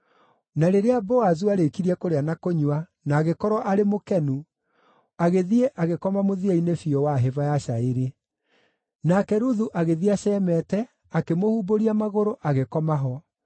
Na rĩrĩa Boazu aarĩkirie kũrĩa na kũnyua, na agĩkorwo arĩ mũkenu, agĩthiĩ agĩkoma mũthia-inĩ biũ wa hĩba ya cairi. Nake Ruthu agĩthiĩ acemete, akĩmũhumbũria magũrũ, agĩkoma ho.